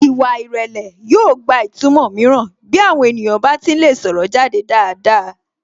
Ìwà ìrẹlẹ̀ yóò gba ìtumọ̀ mìíràn bí àwọn ènìyàn bá ti ń lè sọ̀rọ̀ jáde dáadáa